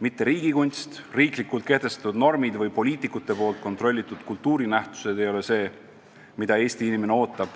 Mitte riigi kunst, riiklikult kehtestatud normid või poliitikute kontrollitud kultuurinähtused ei ole see, mida Eesti inimene ootab,